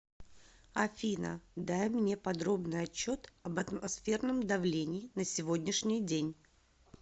афина дай мне подробный отчет об атмосферном давлении на сегодняшний день